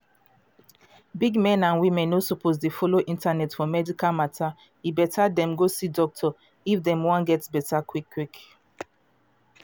big men and women no suppose de follow internet for medical matter e better dem go see doctor if dem wan get better quick quick.